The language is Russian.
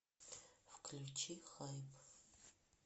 включи хайп